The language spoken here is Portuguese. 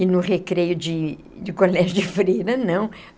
E no recreio de de colégio de freira, não.